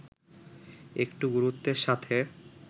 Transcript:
একটু গুরুত্বের সাথে